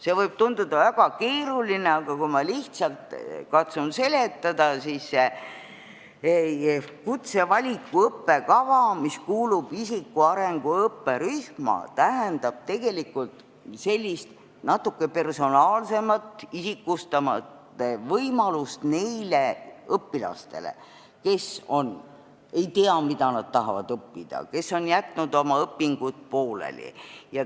See võib tunduda väga keeruline, aga kui ma katsun lihtsalt seletada, siis see kutsevaliku õppekava, mis kuulub isikuarengu õppekavarühma, tähendab tegelikult sellist natuke personaalsemat, isikustatud võimalust neile õpilastele, kes ei tea, mida nad tahavad õppida, või on jätnud oma õpingud pooleli.